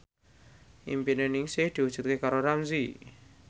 impine Ningsih diwujudke karo Ramzy